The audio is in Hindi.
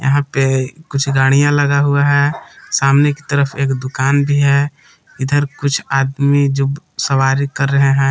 यहां पे कुछ गाड़ियां लगा हुआ है सामने की तरफ एक दुकान भी है इधर कुछ आदमी जो सवारी कर रहे हैं।